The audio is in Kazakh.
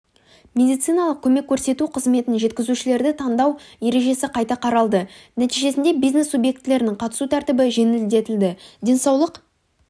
медициналық көмек көрсету қызметін жеткізушілерді таңдау ережесі қайта қаралды нәтижесіндебизнес субъектілерінің қатысу тәртібі жеңілдетілді денсаулық